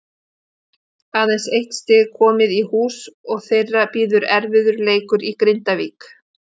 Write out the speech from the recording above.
Aðeins eitt stig komið í hús og þeirra bíður erfiður leikur í Grindavík.